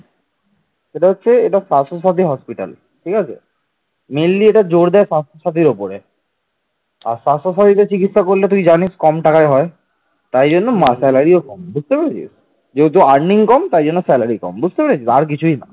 স্বাস্থ্য সাথীদের চিকিৎসা করলে তুই জানিস কম টাকায় হয় তাই জন্য salary ও কম বুঝতে পেরেছিস যেহেতু earning কম তাই জন্য salary কম বুঝতে পেরেছিস আর কিছুই না